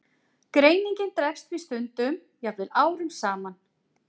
Greiningin dregst því stundum, jafnvel árum saman.